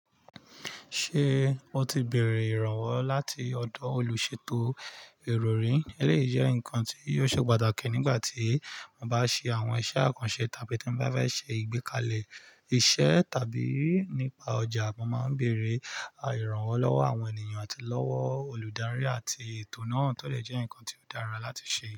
Ṣé o ti bèrè ìrànwọ́ láti ọ̀dọ̀ olùṣètò ìròyìn? Eléyi jẹ́ ǹkan tí yóò ṣe pàtàkì nígbà tí mo bá ṣe àwọn iṣẹ́ àkànṣe tàbí tí n bá fẹ́ ṣe ìgbékalẹ̀ iṣẹ́ tàbí nípa ọjà. Mo máa ń bèrè ìrànwọ́ lọ́wọ́ àwọn ènìyàn àti lọ́wọ́ olùdarí àti ètò náà tó lè jẹ́ ǹkan tí ó dára láti ṣe.